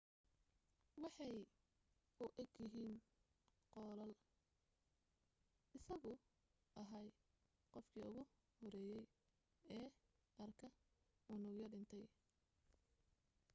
waxay u eeg yihiin qollaal isaguu ahaa qofkii ugu horeeyay ee arka unugyo dhintay